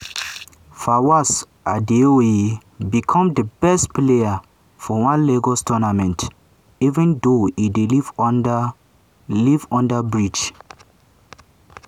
fawaz adeoye become di best player for one lagos tournament even though e dey live under live under bridge.